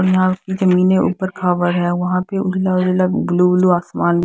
और यहां की जमीन ऊपर खा हुआ है वहां पे उजला उजला ब्लू ब्लू आसमान--